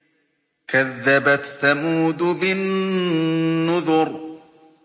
كَذَّبَتْ ثَمُودُ بِالنُّذُرِ